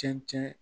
Cɛncɛn